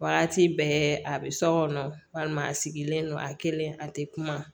Waati bɛɛ a bɛ so kɔnɔ walima a sigilen don a kelen a tɛ kuma